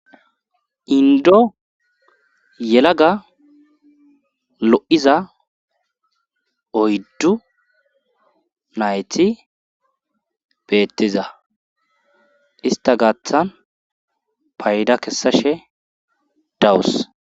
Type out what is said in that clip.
indo yelaga lo7iza oyddu nayti beettiza ista gaaththan payda kessashe dawus